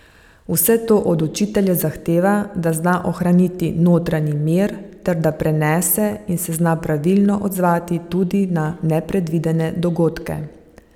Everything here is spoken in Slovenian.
Vse to od učitelja zahteva, da zna ohraniti notranji mir ter da prenese in se zna pravilno odzvati tudi na nepredvidene dogodke.